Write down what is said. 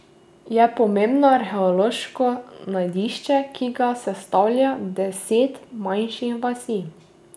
Je pomembno arheološko najdišče, ki ga sestavlja deset manjših vasi.